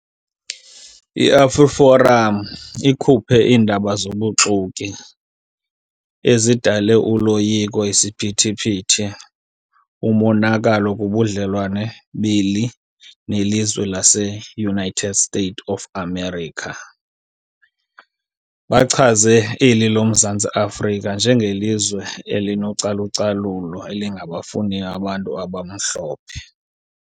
IAfriForum ikhuphe iindaba zobuxoki ezidale uloyiko, isiphithiphithi, umonakalo kubudlelwane beli nelizwe laseUnited States of America. Bachaze eli loMzantsi Afrika njengelizwe elinocalucalulo elingabafuniyo abantu abamhlophe.